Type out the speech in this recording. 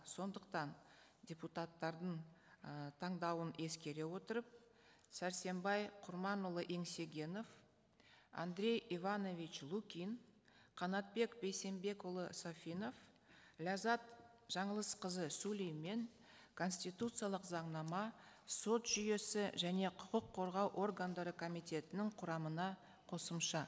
сондықтан депутаттардың ы таңдауын ескере отырып сәрсенбай құрманұлы еңсегенов андрей иванович лукин қанатбек бейсенбекұлы сафинов ләззат жаңылысқызы сүлеймен конституциялық заңнама сот жүйесі және құқық қорғау органдары комитетінің құрамына қосымша